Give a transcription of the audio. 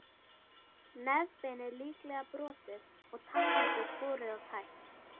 Nefbeinið líklega brotið og tannholdið skorið og tætt.